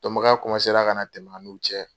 Dɔnbagaya ka na tɛmɛ a n'u cɛ.